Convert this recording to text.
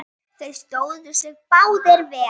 Þeir stóðu sig báðir vel.